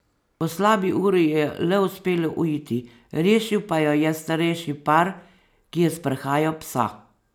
Po slabi uri ji je le uspelo uiti, rešil pa jo je starejši par, ki je sprehajal psa.